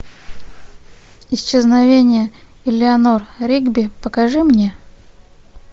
исчезновение элеанор ригби покажи мне